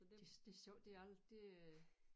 Det det sjovt det al det øh